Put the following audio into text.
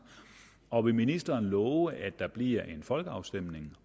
og vil ministeren love at der bliver en folkeafstemning